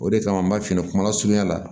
O de kama an b'a f'i ɲɛna kuma lasurunya la